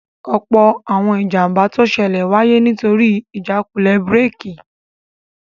Ọ̀pọ̀ àwọn ìjàmbá tó ṣẹlẹ̀ wáyé nítorí ìjákulẹ̀ búrèkì